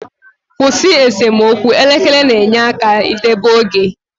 Kwụsị esemokwu, elekere na-enyere aka deba oge.